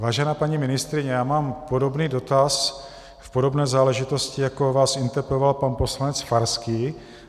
Vážená paní ministryně, já mám podobný dotaz v podobné záležitosti, jako vás interpeloval pan poslanec Farský.